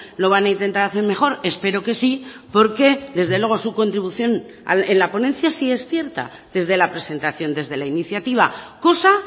lo van a intentar hacer mejor espero que sí porque desde luego su contribución en la ponencia sí es cierta desde la presentación desde la iniciativa cosa